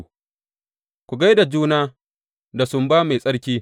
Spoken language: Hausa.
Ku gaggai da juna da sumba mai tsarki.